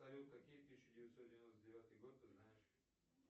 салют какие тысяча девятьсот девяносто девятый год ты знаешь